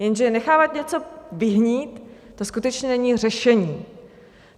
Jenže nechávat něco vyhnít, to skutečně není řešení.